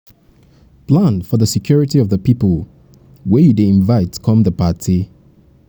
plan for di security of di pipo wey you dey invite come di party